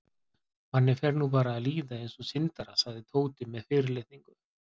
Manni fer nú bara að líða eins og syndara sagði Tóti með fyrirlitningu.